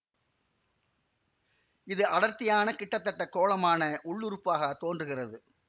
இது அடர்த்தியான கிட்டத்தட்ட கோளமான உள்ளுறுப்பாகத் தோன்றுகிறது